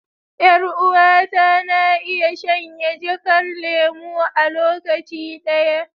Yar uwata na iya shanye jakar lemu a lokaci ɗaya.